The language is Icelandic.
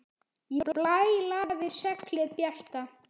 Í blæ lafir seglið bjarta.